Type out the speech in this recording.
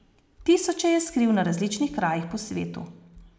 Tisoče je skril na različnih krajih po svetu.